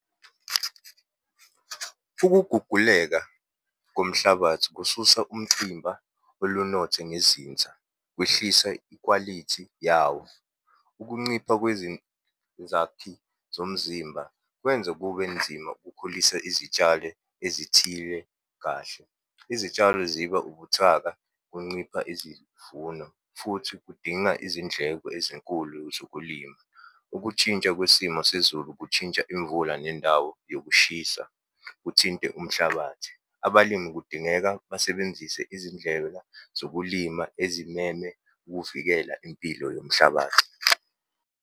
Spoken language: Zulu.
Ukuguguleka komhlabathi kususa umcimba olunothe ngezinza, kwehlisa ikwalithi yawo. Ukuncipha kwezinzakhi zomzimba kwenza kube nzima ukukhulisa izitshale ezithile kahle. Izitshalo ziba ubuthaka, kuncipha izivuno, futhi kudinga izindleko ezinkulu zokulima. Ukutshintsha kwesimo sezulu kushintsha imvula nendawo yokushisa, kuthinte umhlabathi. Abalimi kudingeka basebenzise izindlela zokulima ezineme ukuvikela impilo yomhlabathi.